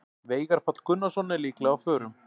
Veigar Páll Gunnarsson er líklega á förum.